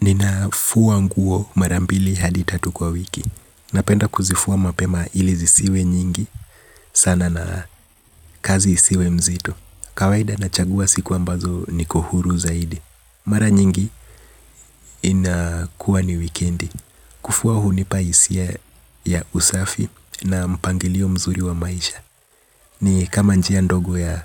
Ninafua nguo mara mbili hadi tatu kwa wiki. Napenda kuzifua mapema ili zisiwe nyingi sana na kazi isiwe mzito. Kawaida nachagua siku ambazo niko huru zaidi. Mara nyingi inakuwa ni wikendi. Kufua hunipa hisia ya usafi na mpangilio mzuri wa maisha. Ni kama njia ndogo ya